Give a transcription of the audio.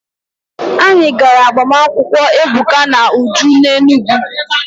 Anyị gara agbamakwụkwọ Ebuka na Uju n'Enugwu.